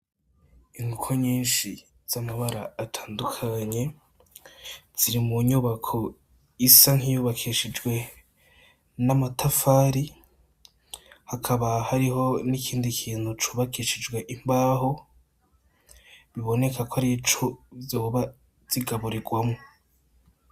Inkoko nyinshi z'amabara atandukanye, ziri mu nyubako isa nk’iyubakishijwe amatafari, hakaba hariho n’ikindi kintu cubakishijwe imbaho biboneka ko ari co zoba zigaburirwamo.